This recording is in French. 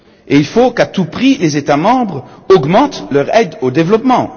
Il faut qu'à tout prix les États membres augmentent leur aide au développement.